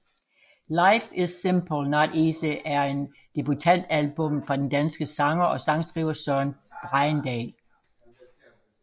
Life Is Simple Not Easy er debutalbummet fra den danske sanger og sangskriver Søren Bregendal